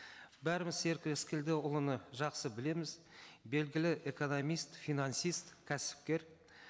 бәріміз серік рыскелдіұлын жақсы білеміз белгілі экономист финансист кәсіпкер